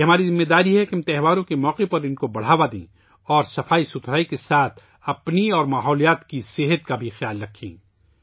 یہ ہماری ذمہ داری ہے کہ ہم تہواروں کے موقع پر ان کو بڑھاوا دیں اور صفائی کے ساتھ ساتھ اپنی صحت اور ماحولیات کا بھی خیال رکھیں